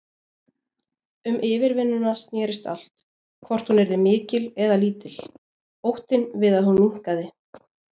Um yfirvinnuna snerist allt, hvort hún yrði mikil eða lítil, óttinn við að hún minnkaði.